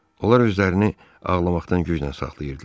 Onlar özlərini ağlamaqdan güclə saxlayırdılar.